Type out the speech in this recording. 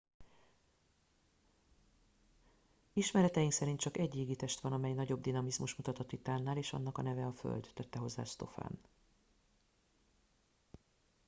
ismereteink szerint csak egy égitest van amely nagyobb dinamizmust mutat a titánnál és annak a neve föld tette hozzá stofan